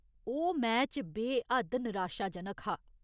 ओह् मैच बे हद्द निराशाजनक हा।